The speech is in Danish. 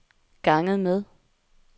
ganget med